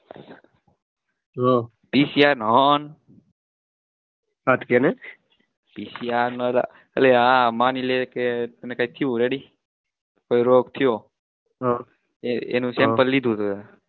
એટલે આ માની લઈએ કે કોઈ રોગ થયો એનું sample લીધું